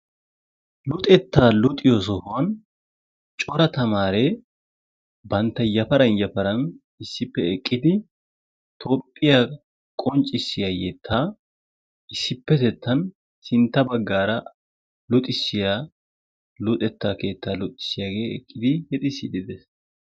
Luxettaa luxiyo sohuwan cora tamaaree bantta yafaran yafaran issippe eqqidi tophphiya qonccissiya yettaa issippetettan sintta baggaara luxissiya luxettaa keettaa luxissiyage eqqidi yexissiiddi des.